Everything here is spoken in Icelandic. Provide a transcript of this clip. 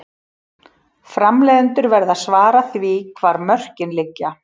Framleiðendur verða að svara því hvar mörkin liggja.